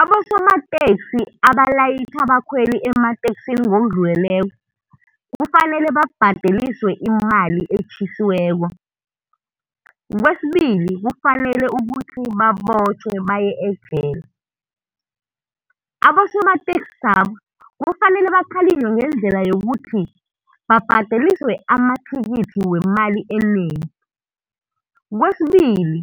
Abosomateksi abalayitjha abakhweli emateksini ngokudluleleko kufanele babhadeliswe imali etjhisiweko, Kwesibili kufanele babotjhwe baye ejele. Abosomateksi laba, kufanele bakhalinywe ngendlela yokuthi babhadeliswe amathikithi wemali enengi. Kwesibili,